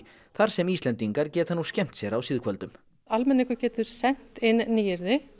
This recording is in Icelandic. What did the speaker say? þar sem Íslendingar geta nú skemmt sér á síðkvöldum almenningur getur sent inn nýyrði